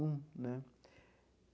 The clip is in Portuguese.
Um, né?